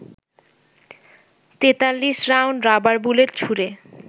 ৪৩ round rubber bullet ছুড়ে